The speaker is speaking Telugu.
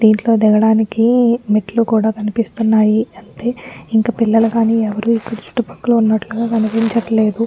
దీంట్లో దిగడానికి మెట్లు కూడా కనిపిస్తునాయి.అంతే ఇంకా పిల్లలుగాని ఎవ్వరూ ఇక్కడ చుట్టుపక్కల ఉన్నటుగ కనిపించట్లేదు.